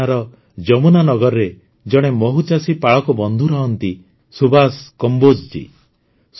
ହରିୟାଣାର ଯମୁନାନଗରରେ ଜଣେ ମହୁମାଛି ପାଳକ ବନ୍ଧୁ ରହନ୍ତି ସୁଭାଷ କମ୍ବୋଜ ଜୀ